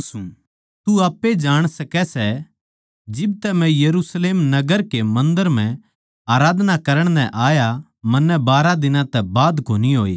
तू आप्पे ए जाण सकै सै जिब तै मै यरुशलेम नगर के मन्दर म्ह आराधना करण नै आया मन्नै बारहा दिनां तै बाध कोनी होए